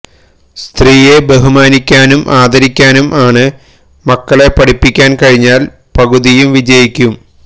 സത്രീയെ ബഹുമാനിക്കാനും ആദരിക്കാനും ആണ് മക്കളെ പഠിപ്പിക്കാൻ കഴിഞ്ഞാൽ പകുതിയും വിജയിക്കും